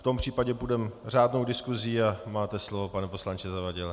V tom případě půjdeme řádnou diskusí a máte slovo, pane poslanče Zavadile.